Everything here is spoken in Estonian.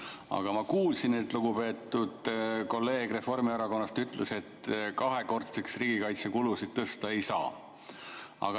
Aga ma kuulsin, et lugupeetud kolleeg Reformierakonnast ütles, et kahekordseks riigikaitsekulusid tõsta ei saa.